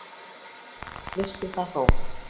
Vissi það þó.